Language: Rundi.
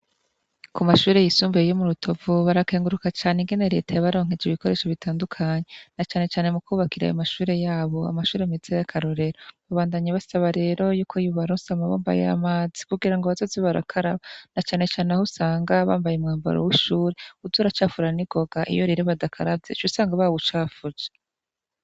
Ku mashure yisumbuye yo mu rutovu barakenguruka cane ingene reta yabaronkeje ibikoresho bitandukanye na canecane mu kwubakira ayo mashure yabo, amashure meza y'akarorero babandanya basaba rero yuko yobaronsa amabombo y'amazi kugira ngo bazoze barakaraba na canecane aho usanga bambaye umwambaro w'ishure uza uracafura ningoga iyo rero badakaravye uca usanga bawucafuje.